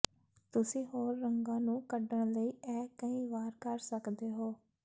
ਤੁਸੀਂ ਹੋਰ ਰੰਗਾਂ ਨੂੰ ਕੱਢਣ ਲਈ ਇਹ ਕਈ ਵਾਰ ਕਰ ਸਕਦੇ ਹੋ